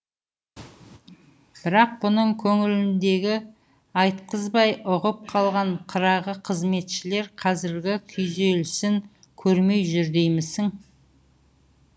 бірақ бұның көңіліндегіні айтқызбай ұғып қалған қырағы қызметшілер қазіргі күйзелісін көрмей жүр демейсің